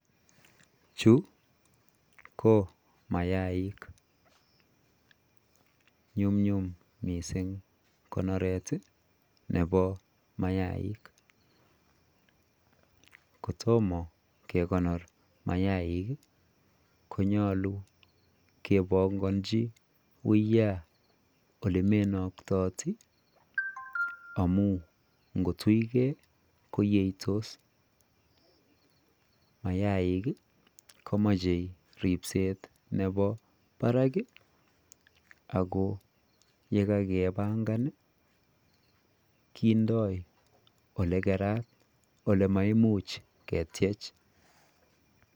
Chuu ko mayaik nyumnyum missing konoret ii nebo mayaik kotomah kegonor mayaik ii konyaluu kebanganjii uyaan ole menaktatii amuun ngoot tuigei koyeitos mayaik ii komachei ripset nebo barak ii ako ye kakebangaan ii kindoi ole Karan ole maimuuch ketyeech.